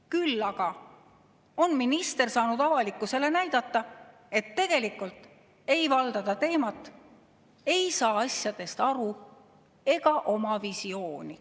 Küll aga on minister saanud avalikkusele näidata, et tegelikult ei valda ta teemat, ei saa asjadest aru ega oma visiooni.